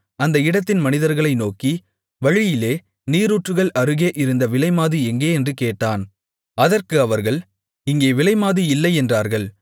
அந்த இடத்தின் மனிதர்களை நோக்கி வழியிலே நீரூற்றுகள் அருகே இருந்த விலைமாது எங்கே என்று கேட்டான் அதற்கு அவர்கள் இங்கே விலைமாது இல்லை என்றார்கள்